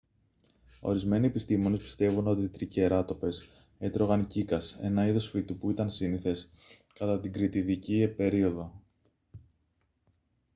ορισμένοι επιστήμονες πιστεύουν ότι οι τρικεράτοπες έτρωγαν κύκας ένα είδος φυτού που ήταν σύνηθες κατά την κρητιδική περίοδο